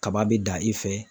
Kaba bɛ dan i fɛ.